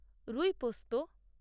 রুই পোস্ত